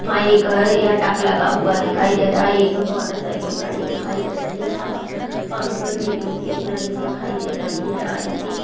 यहां एक हैं यहाँ टप लगा हुआ दिखाई दे रहा है यहां पर मोटरसाइकिल खड़ी हो दिखाई दे रही है हवा पंप की नली दिखाई दे रही हैं आई--